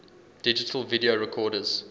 digital video recorders